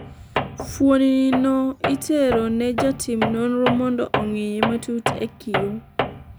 fuoni no itero ne jatim nonro mondo ong'iye matut e kioo